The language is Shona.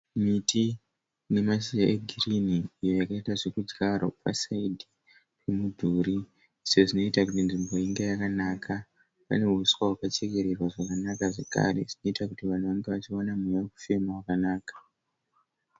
Miti ine mashizha egirini iyo yakaita zvedyarwa pasayidhi pemudhuri se zvinoita kuti nzvimbo inge yakanaka. Pane huswa wakachekererwa zvakanaka zvakare unoita kuti vanhu vange vachiwana mweya wekufema wakanaka .